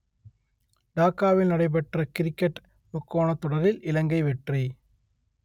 டாக்காவில் நடைபெற்ற கிரிக்கட் முக்கோணத் தொடரில் இலங்கை வெற்றி